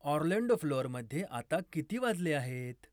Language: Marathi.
ऑर्लॅंडो फ्लोअरमध्ये आत्ता किती वाजले आहेत